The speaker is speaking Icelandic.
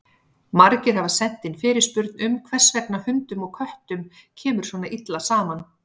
Margir hafa sent inn fyrirspurn um hvers vegna hundum og köttum kemur svona illa saman.